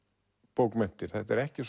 bókmenntir þetta er ekki